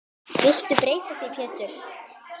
Viltu breyta því Pétur.